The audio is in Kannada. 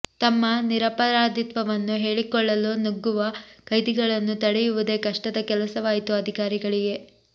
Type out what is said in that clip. ತಮ್ಮ ನಿರಪರಾಧಿತ್ವವನ್ನು ಹೇಳಿಕೊಳ್ಳಲು ನುಗ್ಗುವ ಕೈದಿಗಳನ್ನು ತಡೆಯುವುದೇ ಕಷ್ಟದ ಕೆಲಸವಾಯಿತು ಅಧಿಕಾರಿಗಳಿಗೆ